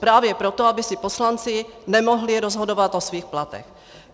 Právě proto, aby si poslanci nemohli rozhodovat o svých platech.